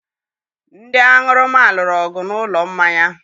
Ndị aṅụrụma lụrụ ọgụ n'ụlọ mmanya.